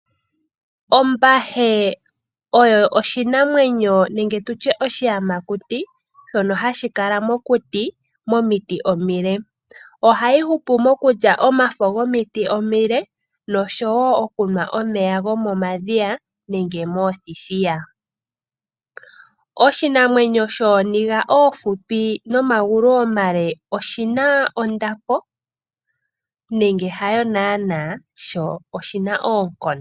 Ombahe oyo oshinamwenyo nenge tutye oshiyamakuti shono hashi kala mokuti momiti omile ohayi hupi mokulya omafo gomiti omile noshowo okunwa omeya gomomadhiya nenge mothithiya. Oshinamwenyo shoninga oohupi nomagulu omale oshina ondapo nenge hayo nana sho oshina oonkondo.